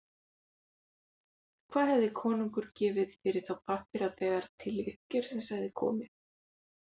Hvað hefði konungur gefið fyrir þá pappíra þegar til uppgjörs hefði komið?